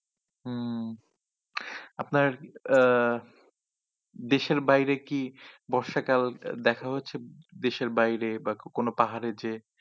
হম আপনার আহ দেশের বাইরে কি বর্ষাকাল দেখা হয়েছে? দেশের বাইরে বা কোনো পাহাড়ে যেয়ে?